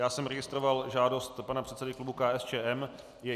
Já jsem registroval žádost pana předsedy klubu KSČM.